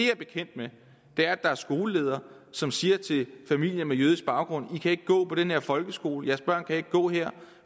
er bekendt med er at der er skoleledere som siger til familier med jødisk baggrund i kan ikke gå på den her folkeskole jeres børn kan ikke gå her